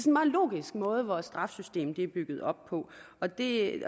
en meget logisk måde vores straffesystem er bygget op på og det